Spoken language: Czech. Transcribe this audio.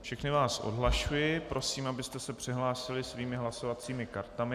Všechny vás odhlašuji, prosím, abyste se přihlásili svými hlasovacími kartami.